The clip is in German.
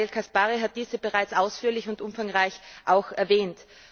Daniel Caspary hat diese bereits ausführlich und umfangreich erwähnt.